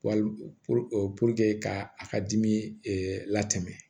ka a ka dimi latɛmɛ